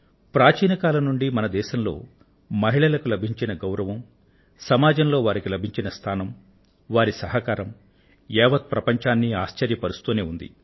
ప్రాచీన కాలం నుండీ మన దేశంలో మహిళలకు లభించిన గౌరవం సమాజంలో వారికి లభించిన స్థానం వారి సహకారం యావత్ ప్రపంచాన్ని ఆశ్చర్యపరుస్తూనే ఉంది